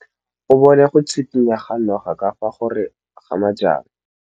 O bone go tshikinya ga noga ka fa gare ga majang.